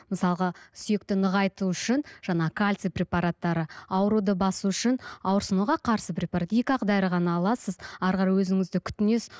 мысалға сүйекті нығайту үшін жаңа кальций препараттары ауруды басу үшін ауырсынуға қарсы препарат екі ақ дәрі ғана аласыз әрі қарай өзіңізді күтінесіз